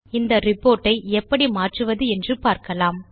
இந்த ரிப்போர்ட் ஐ எப்படி மாற்றுவது என்று பார்க்கலாம்